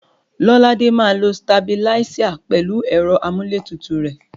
Lọ́ládé máa lo sitabiláísà pẹ̀lú ẹ̀rọ amúlétutù rẹ̀.